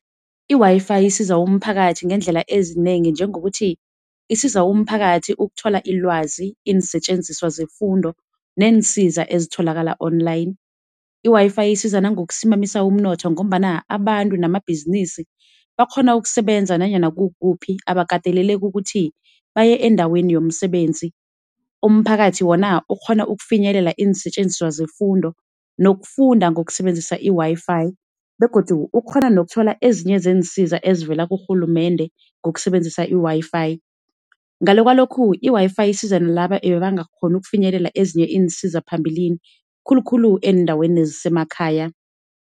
I-WiFi isiza umphakathi ngeendlela ezinengi nengokuthi isiza umphakathi ukuthola ilwazi iinsetjenziswa zefundo neensiza ezitholakala online. I-WiFi isiza nangokusimamisa umnotho ngombana abantu namabhizinisi bakghona ukusebenza nanyana kukuphi abakateleleki ukuthi baye endaweni yomsebenzi. Umphakathi wona ukghona ukufinyelela iinsetjenziswa zefundo nokufunda ngokusebenzisa i-WiFi begodu ukghona nokuthola ezinye zeensiza ezivela kurhulumende ngokusebenzisa i-WiFi. Ngale kwalokhu, i-WiFi isiza nalaba ebebangakghoni ukufinyelela ezinye iinsiza phambilini khulu khulu eendaweni ezisemakhaya.